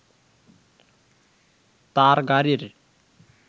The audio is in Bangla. তার গাড়ির